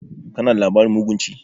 Kana da labarin mugun ci?